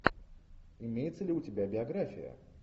имеется ли у тебя биография